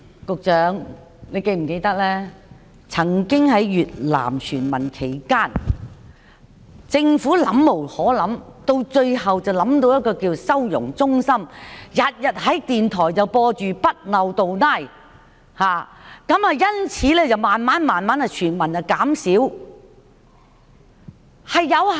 局長，你是否記得，過去在越南船民問題上，政府沒對策，最後想到設立收容中心，每天在電台播放"不漏洞拉"，船民數目也因而逐漸減少。